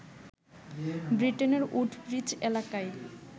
ব্রিটেনের উডব্রিজ এলাকায়